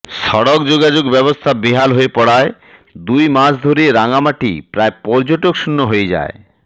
সড়ক যোগাযোগব্যবস্থা বেহাল হয়ে পড়ায় দুই মাস ধরে রাঙামাটি প্রায় পর্যটকশূন্য হয়ে